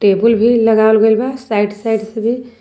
टेबुल भी लगावल गइल बा साइड साइड से भी।